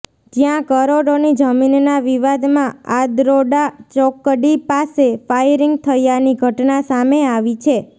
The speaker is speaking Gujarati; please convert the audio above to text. જ્યાં કરોડોની જમીનના વિવાદમાં આદ્રોડા ચોકડી પાસે ફાયરિંગ થયાની ઘટના સામે આવી છે